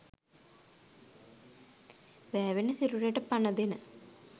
වෑවෙන සිරුරට පණ දෙන